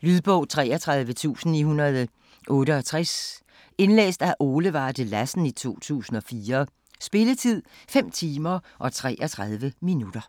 Lydbog 33968 Indlæst af Ole Varde Lassen, 2004. Spilletid: 5 timer, 33 minutter.